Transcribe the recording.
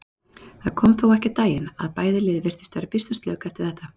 Það kom þó ekki á daginn og bæði lið virtust vera býsna slök eftir þetta.